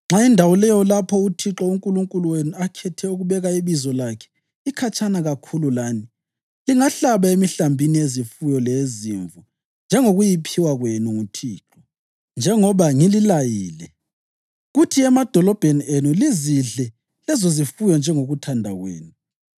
Nxa indawo leyo lapho uThixo uNkulunkulu wenu akhetha ukubeka iBizo lakhe ikhatshana kakhulu lani, lingahlaba emihlambini yezifuyo leyezimvu njengokuyiphiwa kwenu nguThixo, njengoba ngililayile, kuthi emadolobheni enu lizidle lezozifuyo njengokuthanda kwenu.